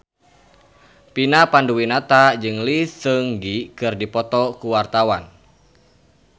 Vina Panduwinata jeung Lee Seung Gi keur dipoto ku wartawan